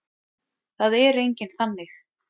Það er enginn þannig.